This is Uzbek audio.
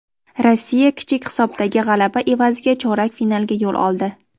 Rossiya kichik hisobdagi g‘alaba evaziga chorak finalga yo‘l oldi.